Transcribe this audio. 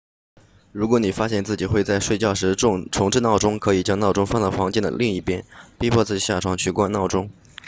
如果你发现自己会在睡觉时重置闹钟可以将闹钟放到房间的另一边逼迫自己下床去关闹钟